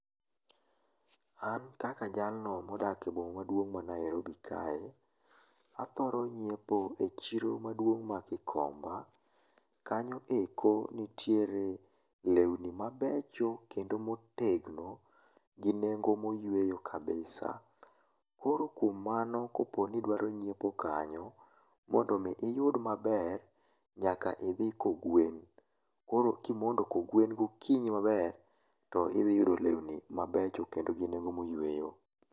An kaka jalno modak e boma maduong ma Niarobi kae, athoro nyiepo e chiro maduong ma Kikomba kanyo eko nitere lweni mabecho kendo motegno gi nengo moyueyo kabisa koro kuom mano koponi idwaro nyiepo kanyo mondo mi iyud maber nyaka idhi kogwen, koro kimondo kogwen gokinyi maber to idhi yudo lewni mabecho kendo gi nengo moyueyo